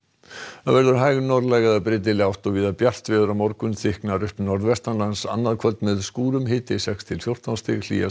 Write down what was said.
að veðri hæg norðlæg eða breytileg átt og víða bjart veður á morgun en þykknar upp annað kvöld með skúrum hiti sex til fjórtán stig hlýjast